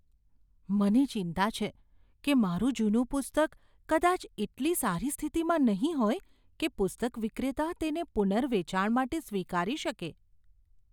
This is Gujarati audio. મને ચિંતા છે કે મારું જૂનું પુસ્તક કદાચ એટલી સારી સ્થિતિમાં નહીં હોય કે પુસ્તક વિક્રેતા તેને પુનર્વેચાણ માટે સ્વીકારી શકે.